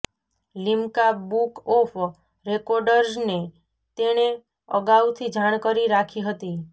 Limca Book of રેકોર્ડઝને તેણે અગાઉથી જાણ કરી રાખી હતી